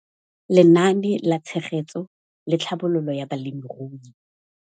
Lenaane la Tshegetso le Tlhabololo ya Balemirui.